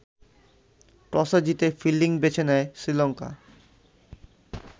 টসে জিতে ফিল্ডিং বেছে নেয় শ্রীলঙ্কা।